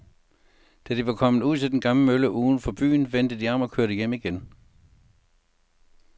Da de var kommet ud til den gamle mølle uden for byen, vendte de om og kørte hjem igen.